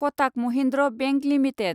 Kotak Mahindra bank limited